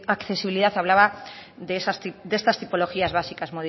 la accesibilidad hablaba de estas tipologías básicas